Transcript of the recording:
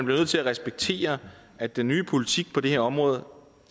nødt til at respektere at den nye politik på det her område